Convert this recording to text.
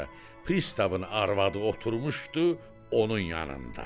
Pristavın arvadı oturmuşdu onun yanında.